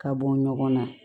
Ka bɔ ɲɔgɔn na